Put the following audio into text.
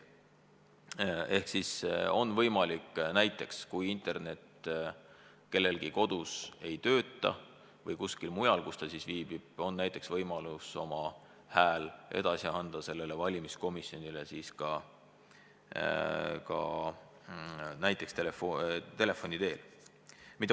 Kui internet kellelgi kodus või kuskil mujal, kus ta viibib, ei tööta, saab ta oma otsuse sellele komisjonile teada anda ka näiteks telefoni teel.